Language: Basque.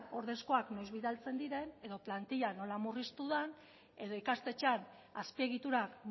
ordezkoak noiz bidaltzen diren edo plantillak nola murriztu den edo ikastetxean azpiegiturak